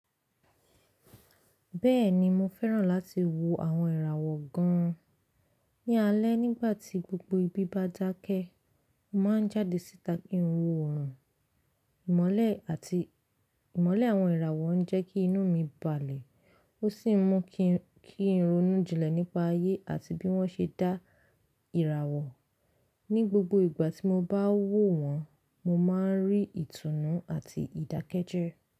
Bẹ́ẹ̀ni, mo fẹ́ràn láti wo àwọn ìràwọ̀ gan an. Ní alẹ́ nígbà tí gbogbo ibi bá dákẹ́, mo máa ń jáde síta kin wo oorun. Ìmọ̀le àti ìmọ̀le àwọn ìràwọ̀ ń jẹ́ kí inú mi balẹ̀ ó sì ń mú kí n ronú jinlẹ̀ nípa ayé àti bí wọ́n ṣe dá ìràwọ̀. Ni gbogbo ìgbà tí mo bá wò wọ́n, mo máa ń rí ìtùnú àti ìdákẹ́jẹ́.